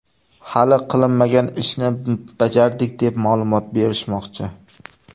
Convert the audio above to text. Hali qilinmagan ishni bajardik, deb ma’lumot berishmoqchi.